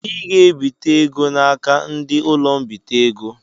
I ga ebite égo n'aka ndị ụlọ-mbite ego.